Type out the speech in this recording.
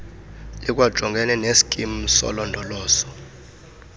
likwajongene nesikim solondolozo